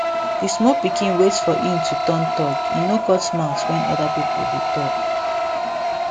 di small pikin wait for im to turn talk e no cut mouth wen other people dey talk